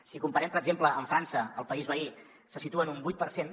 si ho comparem per exemple amb frança el país veí se situa en un vuit per cent